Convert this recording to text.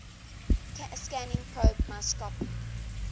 scanning probe microscopy